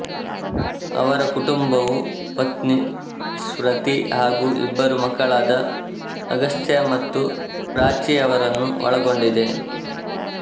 ಅವರ ಕುಟುಂಬವು ಪತ್ನಿ ಸ್ಮೃತಿ ಹಾಗೂ ಇಬ್ಬರು ಮಕ್ಕಳಾದ ಅಗಸ್ತ್ಯ ಮತ್ತು ಪ್ರಾಚ್ಚಿಯವರನ್ನು ಒಳಗೊಂಡಿದೆ